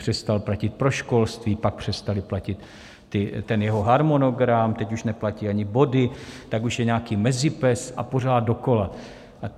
Přestal platit pro školství, pak přestal platit ten jeho harmonogram, teď už neplatí ani body, tak už je nějaký MEZIPES, a pořád dokola.